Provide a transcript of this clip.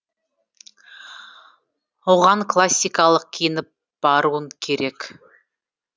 оған классикалық киініп баруың керек